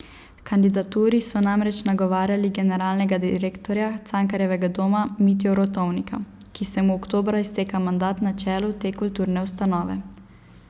H kandidaturi so namreč nagovarjali generalnega direktorja Cankarjevega doma Mitjo Rotovnika, ki se mu oktobra izteka mandat na čelu te kulturne ustanove.